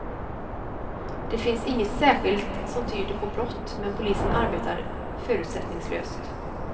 Det finns inget särskilt, som tyder på brott, men polisen arbetar förutsättningslöst.